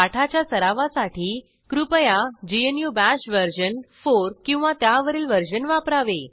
पाठाच्या सरावासाठी कृपया ग्नू बाश वर्जन 4 किंवा त्यावरील वर्जन वापरावे